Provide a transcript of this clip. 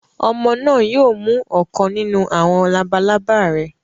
Ọmọ náà yóò mú ọ̀kan nínú àwọn labalábá rẹ.